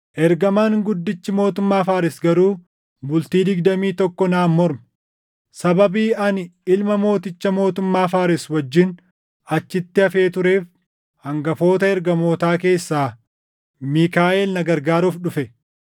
Ergamaan guddichi mootummaa Faares garuu bultii digdamii tokko naan morme. Sababii ani ilma mooticha mootummaa Faares wajjin achitti hafee tureef hangafoota ergamootaa keessaa Miikaaʼel na gargaaruuf dhufe.